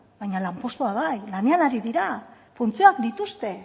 baina lanpostua bai lanean ari dira funtzioak dituzte